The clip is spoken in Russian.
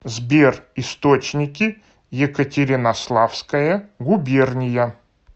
сбер источники екатеринославская губерния